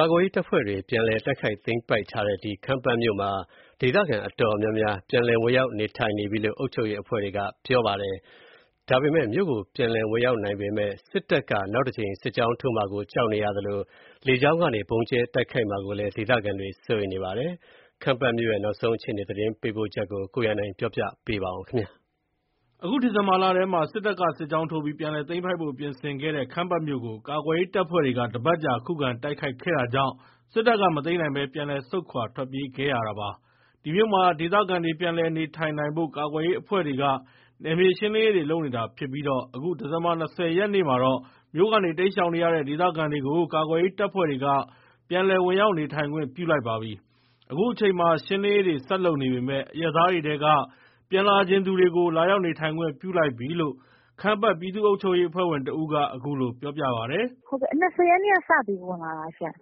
ကာကွယ်ရေးတပ်ဖွဲ့တွေ ပြန်လည်တိုက်ခိုက်သိမ်းပိုက်ထားတဲ့ ခမ်းပတ်မြို့မှာ ဒေသခံတော်တော်များများ ပြန်လည်ဝင်ရောက် နေထိုင်နေပြီလို့ အုပ်ချုပ်ရေးအဖွဲ့တွေက ပြောပါတယ်။ မြို့ကို ပြန်လည်ဝင်ရောက် နိုင်ပေမယ့် စစ်တပ်က နောက်တကြိမ် စစ်ကြောင်းထိုးမှာကို ကြောက်နေရသလို လေကြောင်းကနေ ဗုံးကြဲတိုက်ခိုက်မှာကိုလည်း ဒေသခံတွေ စိုးရိမ်နေပါတယ်။ ခမ်းပတ်မြို့ရဲ့ နောက်ဆုံး အခြေအနေ သတင်းပေးပို့ချက်ကို အခြေခံပြီး ကိုရန်နိုင်က ပြောပြပါမယ်။ အခု ဒီဇင်ဘာလထဲမှာ စစ်တပ်က စစ်ကြောင်းထိုးပြီး ပြန်လည်သိမ်းပိုက်ဖို့ပြင်ဆင်ခဲ့တဲ့ ခမ်းပတ်မြို့ကို ကာကွယ်ရေး တပ်ဖွဲ့တွေက တပတ်ကြာ ခုခံတိုက်ခိုက်ခဲ့တာကြောင့် စစ်တပ်က မသိမ်းနိုင်ပဲ ပြန်လည် ဆုတ်ခွါထွက်ပြေးခဲ့ရတာပါ။ ဒီမြို့မှာ ဒေသခံတွေ ပြန်လည် နေထိုင်နိုင်ဖို့ ကာကွယ်ရေး အဖွဲ့တွေက နယ်မြေရှင်းလင်းရေးတွေ လုပ်နေတာဖြစ်ပြီး အခု ဒီဇင်ဘာ ၂၀ ရက်မှာတော့ မြို့ကနေ တိမ်းရှောင်နေရတဲ့ ဒေသခံတွေကို ကာကွယ်ရေး တပ်ဖွဲ့တွေက ပြန်လည်ဝင်ရောက် နေထိုင်ခွင့်ပြု လိုက်ပါပြီ။ အခုအချိန်မှာ ရှင်းလင်းရေးတွေ ဆက်လုပ်နေပေမယ့် အရပ်သားတွေထဲက ပြန်လာချင်သူတွေကို လာရောက်နေထိုင်ခွင့်ပြု လိုက်ပြီလို့ ခမ်းပတ် ပြည်သူ့အုပ်ချုပ်ရေး အဖွဲ့ဝင်တဦးက အခုလို ပြောပြပါတယ်။ “၂၀ ရက်ကစပြီး ပြန်လည်ဝင်တာ။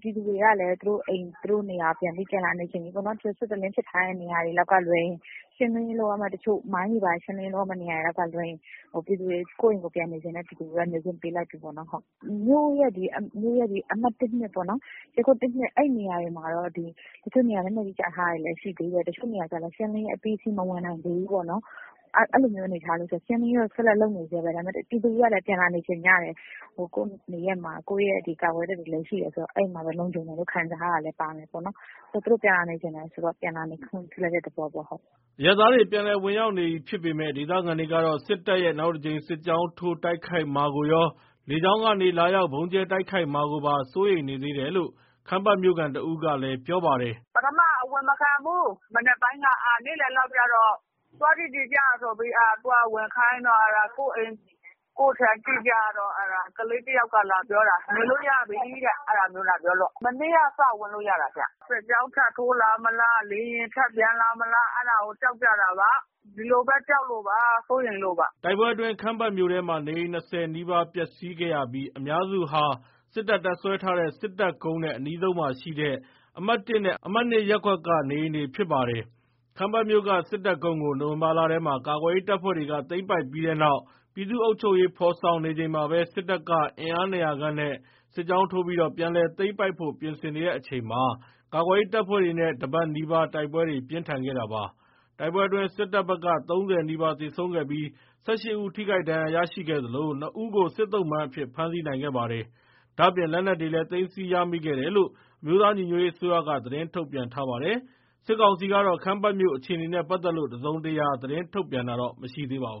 ပြည်သူတွေကလည်း သူတို့အိမ် သူတို့နေရာ ပြန်လာနေချင်ကြပြီပေါ့နော်။ စစ်တလင်းဖြစ်ထားတဲ့ နေရာတွေကလွဲရင် မိုင်းတွေဘာတွေ ရှင်းလင်းရေးလုပ်ရမယ့် နေရာတွေကလွဲရင် ကိုယ့်အိမ်ကိုယ် ပြန်နေချင်တဲ့ ပြည်သူတွေကိုတော့ နေခွင့်ပေးလိုက်ပြီပေါ့နော်။ မြို့ရဲ့ အမှတ် (၁) (၂) အဲ့နေရာတွေမှာတော့ တချို့နေရာတွေမှာ လက်နက်ကြီးကျထားတာတွေ တချို့နေရာတွေလည်း ရှင်းလင်းရေး အပြီးစီးမဝင်နိုင်သေးဘူး။ အဲ့ဒါကိုရှင်းလင်းရေး ဆက်လက်လုပ်နေဆဲပဲ ဒါပေမယ့် ပြည်သူတွေကလည်း ပြန်လာနေချင်ကြတယ်။ ကိုယ့်နေရပ်မှာ ကိုယ့်ကာကွယ်ရေး တပ်တွေလည်းရှိတယ်ဆိုတော့ အဲ့မှာလုံခြုံတယ်လို့ ခံစားရတာလည်းပါတယ်။ သူတို့ပြန်လာနေချင်တယ်ဆိုတော့ ပြန်လာနေခွင့်ပြုတဲ့ သဘောပေါ့။” အရပ်သားတွေ ပြန်လည်ဝင်ရောက် နေပြီဖြစ်ပေမယ့် ဒေသခံတွေကတော့ စစ်တပ်ရဲ့ နောက်တကြိမ် စစ်ကြောင်းထိုး တိုက်ခိုက်မှာကိုရော၊ လေကြောင်းကနေ လာရောက် ဗုံးကြဲတိုက်ခိုက်မှာကိုပါ စိုးရိမ်နေသေးတယ်လို့ ခမ်းပတ်မြို့ခံတဦးကလည်း ပြောပါတယ်။ “ပထမ အဝင်မခံဘူး၊ နေ့လည်လောက်ကြတော့ သွားကြည့်ချင်ကြတော့ ဝင်ခိုင်းတော့ ကိုယ့်အိမ်၊ ကိုယ့်ခြံ ကြည့်ကြတော့ ကလေး တယောက်က လာပြောတာ ဝင်လို့ရပြီလို့ အဲ့လိုလာပြောလို့ မနေ့က စဝင်လို့ရတာ။ စစ်ကြောင်း ထပ်ထိုးလာမလား လေယာဉ်ထပ်ပျံလာမလား ကြောက်လို့ပေါ့။ ဒီလိုပဲ ကြောက်လို့ပေါ့ စိုးရိမ်လို့ပေါ့။” တိုက်ပွဲအတွင်း ခမ်းပတ်မြို့ထဲမှာ နေအိမ် ၂၀ နီးပါး ပျက်စီးခဲ့ရပြီး အများစုဟာ စစ်တပ် တပ်စွဲထားတဲ့ စစ်တပ်ကုန်းနဲ့ အနီးဆုံးမှာရှိတဲ့ အမှတ်(၁) နဲ့ အမှတ် (၂) ရပ်ကွက်က နေအိမ်တွေဖြစ်ပါတယ်။ ခမ်းပတ်မြို့က စစ်တပ်ကုန်းကို နိုဝင်ဘာလထဲမှာ ကာကွယ်ရေး တပ်ဖွဲ့တွေက သိမ်းပိုက်ပြီးတဲ့နောက် ပြည်သူ့အုပ်ချုပ်ရေး ဖော်ဆောင်နေချိန်မှာပဲ စစ်တပ်က အင်အား ၂၀၀ ခန့်နဲ့ စစ်ကြောင်းထိုးပြီး ပြန်လည် သိမ်းပိုက်ဖို့ ပြင်ဆင်တဲ့အချိန်မှာ ကာကွယ်ရေး တပ်ဖွဲ့တွေနဲ့ ၁ ပတ်နီးပါး တိုက်ပွဲတွေ ပြင်းထန်ခဲ့တာပါ။ တိုက်ပွဲအတွင်း စစ်တပ်ဘက်က ၃၀ နီးပါး သေဆုံးခဲ့ပြီး ၁၈ ဦး ထိခိုက်ဒဏ်ရာ ရရှိခဲ့သလို ၂ ဦးကို စစ်သုံ့ပန်းအဖြစ် ဖမ်းဆီးနိုင်ခဲ့ပါတယ်။ ဒါ့အပြင် လက်နက်တွေလည်း သိမ်းဆည်းရမိခဲ့တယ်လို့ အမျိုးသားညီညွတ်ရေး အစိုးရက သတင်း ထုတ်ပြန်ထားပါတယ်။ စစ်ကောင်စီကတော့ ခမ်းပတ်မြို့ အခြေနေနဲ့ ပတ်သက်လို့ တစုံတရာ သတင်းထုတ်ပြန်တာ မရှိသေးပါဘူး။